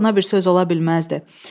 Daha buna bir söz ola bilməzdi.